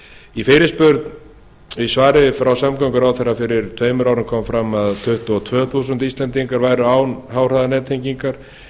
í fyrirspurn í svari frá samgönguráðherra fyrir tveimur árum kom fram að tuttugu og tvö þúsund íslendingar væru án háhraðanettengingar